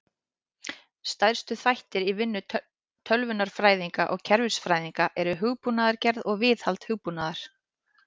Stærstu þættir í vinnu tölvunarfræðinga og kerfisfræðinga eru hugbúnaðargerð og viðhald hugbúnaðar.